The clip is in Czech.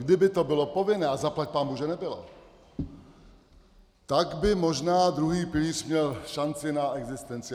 Kdyby to bylo povinné, a zaplať pánbůh, že nebylo, tak by možná druhý pilíř měl šanci na existenci.